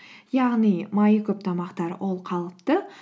яғни майы көп тамақтар ол қалыпты